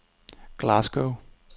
Glasgow